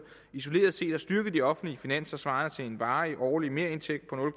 isoleret set har styrket de offentlige finanser svarende til en varig årlig merindtægt på